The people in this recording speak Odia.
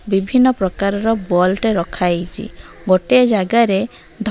ବିଭିନ୍ନ ପ୍ରକାରର ବଲ ଟେ ରଖା ହେଇଚି ଗୋଟେ ଯାଗାରେ ଧ --